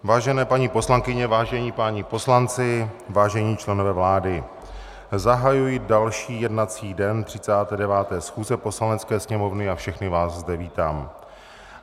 Vážené paní poslankyně, vážení páni poslanci, vážení členové vlády, zahajuji další jednací den 39. schůze Poslanecké sněmovny a všechny vás zde vítám.